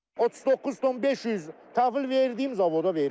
39 ton 500 təhvil verdiyim zavoda vermişəm.